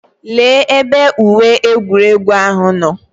Lee ebe uwe egwuregwu ahụ nọ.